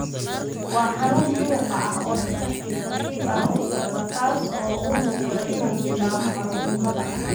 Laing Distal myopathy waa xanuun muruqa ah oo si tartiib tartiib ah u socda kaas oo u muuqda inuu bilaabo caruurnimada.